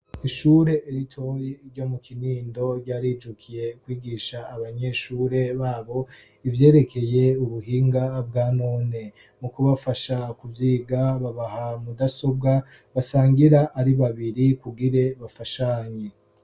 Ishure ritoyi ryo mu Kinindo ryarijukiye kwigisha abanyeshure babo ivyerekeye ubuhinga bwa none mu kubafasha kuvyiga babaha mudasobwa basangira ari babiri kugira bafashanye.